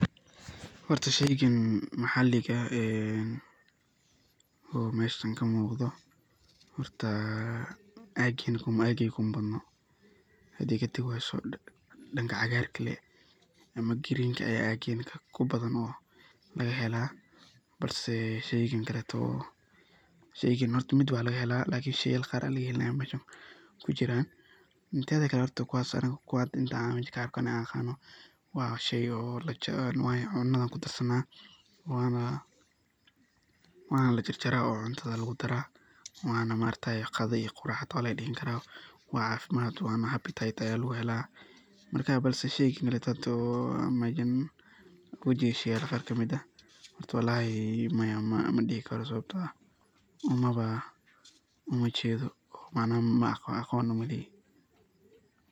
Horta sheygan maxaliga ah oo meshan ka muqda ,horta ageyga kuma badno hadey katagi weyso danka cagarka ah ama greenka ah aya kubadan. Teda kale sheyga ani mesha an ku arko waa arimo badan oo cunada kudarsana waana la jarjaraa oo cunada lagu daraa oo qadaa iyo qurac ayaa laga digan karaa wana cafimaad waana habitat aya lagu hela marka hadi sheyga kaleto marka walahi maya madihi karo sababto ah umajedo oo maaqono.